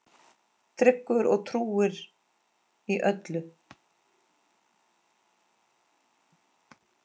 Tryggur og trúr í öllu.